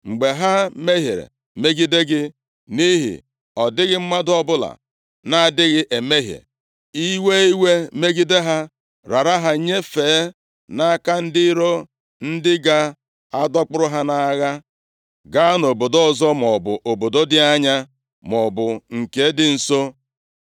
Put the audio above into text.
“Mgbe ha mehiere megide gị, nʼihi na ọ dịghị mmadụ ọbụla na-adịghị emehie, ị wee iwe megide ha, rara ha nyefee nʼaka ndị iro, ndị ga-adọkpụrụ ha nʼagha gaa nʼobodo ọzọ, maọbụ obodo dị anya maọbụ nke dị nso;